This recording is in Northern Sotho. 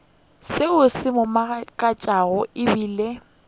seo se mo makatšago ebile